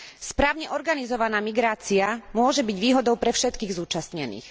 Správne organizovaná migrácia môže byť výhodou pre všetkých zúčastnených.